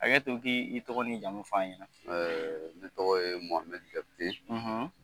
Hakɛ to i k' i tɔgɔ ni jamu fɔ an ɲɛ na. Ne tɔgɔ ye Mohamɛdi Jakite.